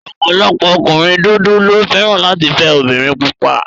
Ọ̀pọ̀lọpọ̀ ọkùnrin dúdú ló fẹ́ràn láti fẹ́ obìnrin pupa